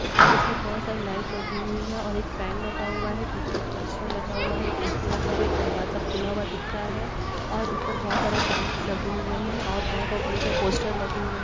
ऊपर बहुत सारी लाइट लगी हुई है और एक फेन लगा हुआ है| पीछे एक पोस्टर लगा हुआ है| एक ए_सी लगा हुआ है| एक दरवाजा खुला हुआ दिख रहा है और ऊपर बहुत सारे फेन लगे हुए है और बहुत सारे छोटे-छोटे पोस्टर लगे हुए हैं।